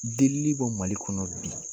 Delili bɔ Mali kɔnɔ bi